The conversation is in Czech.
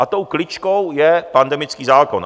A tou kličkou je pandemický zákon.